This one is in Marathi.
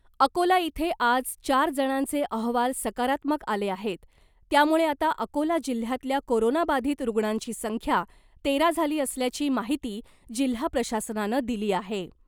अकोला इथे आज चार जणांचे अहवाल सकारात्मक आले आहेत , त्यामुळे आता अकोला जिल्ह्यातल्या कोरोना बाधित रुग्णांची संख्या तेरा झाली असल्याची माहिती जिल्हा प्रशासनानं दिली आहे .